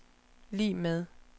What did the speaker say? lig med